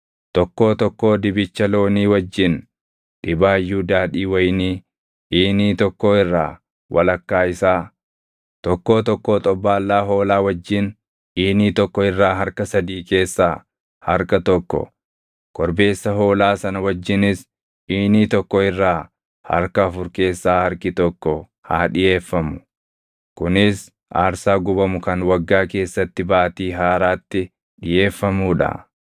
Tokkoo tokkoo dibicha loonii wajjin dhibaayyuu daadhii wayinii iinii tokkoo irraa walakkaa isaa, tokkoo tokkoo xobbaallaa hoolaa wajjin iinii tokko irraa harka sadii keessaa harka tokko, korbeessa hoolaa sana wajjinis iinii tokko irraa harka afur keessaa harki tokko haa dhiʼeeffamu. Kunis aarsaa gubamu kan waggaa keessatti baatii haaraatti dhiʼeeffamuu dha.